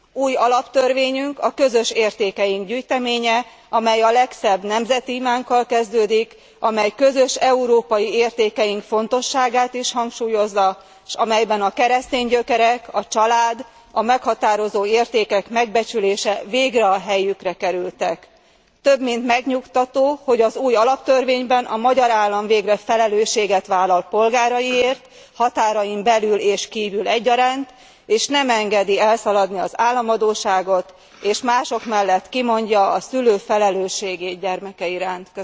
Új alaptörvényünk a közös értékeink gyűjteménye, amely a legszebb nemzeti imánkkal kezdődik, amely közös európai értékeink fontosságát is hangsúlyozza, s amelyben a keresztény gyökerek, a család a meghatározó értékek megbecsülése végre a helyükre kerültek. Több mint megnyugtató, hogy az új alaptörvényben a magyar állam végre felelősséget vállal polgáraiért határain belül és kívül egyaránt és nem engedi elszaladni az államadósságot, és mások mellett kimondja a szülő felelősségét gyermeke iránt.